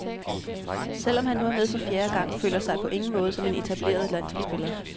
Selv om han nu er med for fjerde gang, føler sig på ingen måde som en etableret landsholdsspiller.